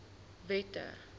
wette